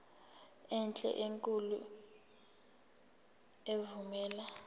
enhle enkulu evumela